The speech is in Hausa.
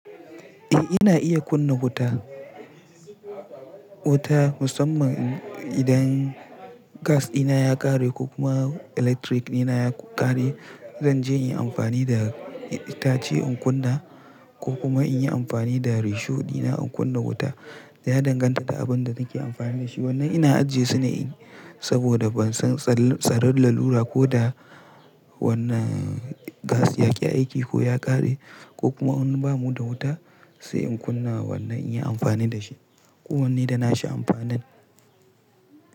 Eh ina iya kunna wuta. Wuta musamman idan gas dina ya ƙare ko kuma electric dina ya ƙare. Zanje inyi amfani da itace in kunna ko kuma inyi amfani da risho dina in kunna wuta. Ya danganta da abin da nake amfani dashi. Wannan ina ajiye sune saboda ban san tsaron lalura ko da wannan gas yaƙi aiki ko ya ƙare ko kuma in bamu da wuta sai in kunna wannan inyi amfani da shi ko wannan da nashi amfani.